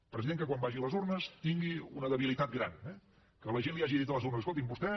un president que quan vagi a les urnes tingui una debilitat gran eh que la gent li hagi dit a les urnes escolti’m vostè